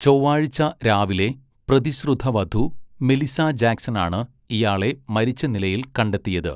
ചൊവ്വാഴ്ച രാവിലെ പ്രതിശ്രുതവധു മെലിസ ജാക്സനാണ് ഇയാളെ മരിച്ച നിലയിൽ കണ്ടെത്തിയത്.